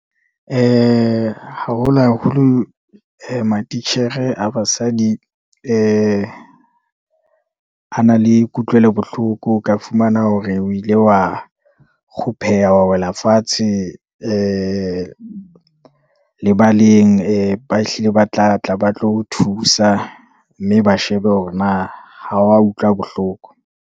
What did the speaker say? Haholo haholo matitjhere a basadi, a na le kutlwelo bohloko, o ka fumana hore o ile wa kgupheha, wa wela fatshe, le lebaleng ba hlile ba tlatla ba tlo o thusa, mme ba shebe hore na ho wa utlwa bohloko.